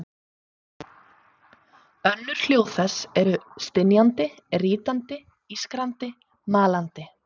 Önnur hljóð þess eru stynjandi, rýtandi, ískrandi, malandi.